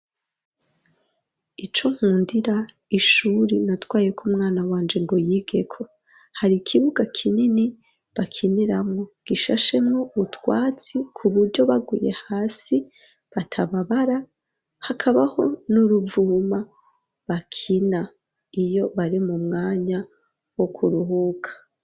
Ico nkundira ishuri natwaye ko umwana wanje ngo yigeko .Hari ikibuga kinini bakiniramo gishashemwo utwatsi ku buryo baguye hasi batababara. Hakabaho n'uruvuma bakina iyo bari mu mwanya wo kuruhuka.